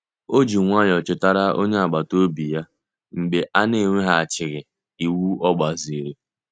O ji nwayọọ chetara onye agbata obi ya mgbe a na-eweghachighị ịwụ ogbaziri.